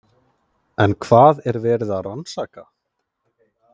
En hvað er verið að rannsaka?